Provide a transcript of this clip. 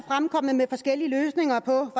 fremkommet med forskellige løsninger på